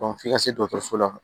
f'i ka se dɔgɔtɔrɔso la